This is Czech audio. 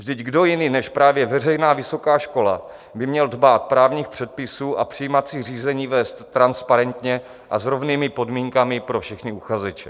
Vždyť kdo jiný než právě veřejná vysoká škola by měl dbát právních předpisů a přijímací řízení vést transparentně a s rovnými podmínkami pro všechny uchazeče?